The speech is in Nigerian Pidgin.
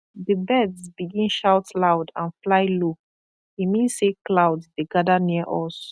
the birds begin shout loud and fly low e mean say cloud dey gather near us